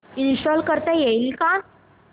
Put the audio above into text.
install करता येईल का